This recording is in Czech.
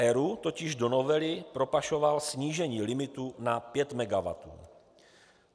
ERÚ totiž do novely propašoval snížení limitu na 5 megawattů.